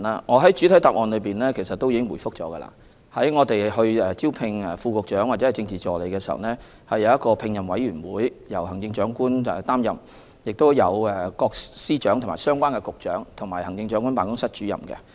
我在主體答覆中已表示，招聘副局長或政治助理的工作由聘任委員會負責，成員包括行政長官、司長、局長及行政長官辦公室主任。